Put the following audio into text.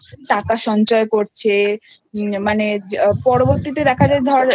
টাকা সঞ্চয় করছে মানে পরবর্তীতে দেখা যায় ধর